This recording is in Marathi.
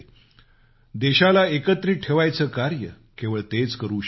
देशाला एकत्रित ठेवायचं कार्य केवळ तेच करू शकत होते